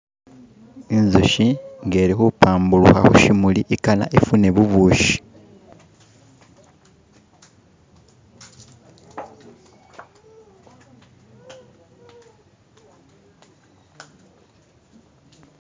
Inzuki nga ilikubbambuluka kushimuli igana ifune bubushi.